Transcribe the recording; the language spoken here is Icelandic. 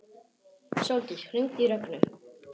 Sóldís, hringdu í Rögnu.